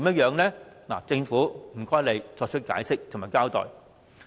請政府作出解釋及交代。